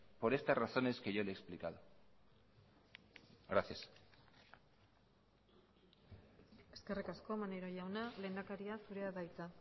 por estas razones que yo le he explicado gracias eskerrik asko maneiro jauna lehendakaria zurea da hitza